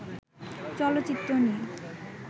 চলচ্চিত্র নিয়ে